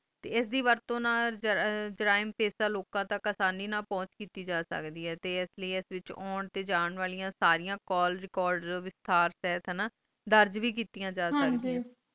ਤੇ ਐਸ ਦੀ ਵਰਤੋਂ ਨਾਲ ਜਰਾਇਮ ਪੇਸ਼ ਲੋਕਾਂ ਤਕ ਆਸਾਨੀ ਨਾਲ ਪੁਹੰਚ ਕੀਤੀ ਜਾ ਸਕਦੈ ਆਈ ਤੇ ਐਸ ਲੈ ਐਸ ਵਿਚ ਹੋਂਦ ਤੇ ਜਾਂਦਾ ਵਾਲਿਆਂ ਸਾਰੀਆਂ call record ਵਿਸਤਾਰਥਾਨਾਂ ਦਰਜ ਵੇ ਕੀਤੀਆਂ ਜਾ ਸਕਦੀਆਂ ਨੇ